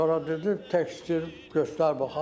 Sonra dedi tekstir göstər baxaq.